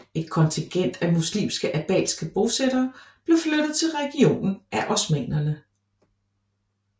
Et kontingent af muslimske albanske bosættere blev flyttet til regionen af osmannerne